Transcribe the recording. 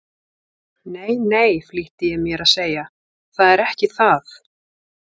Nei, nei, flýtti ég mér að segja, það er ekki það.